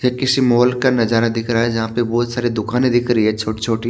ये किसी माल का नजारा दिख रहा है। जहां पे बहोत सारे दुकाने दिख रही है छोटी छोटी।